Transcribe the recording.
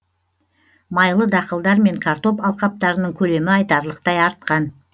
майлы дақылдар мен картоп алқаптарының көлемі айтарлықтай артқан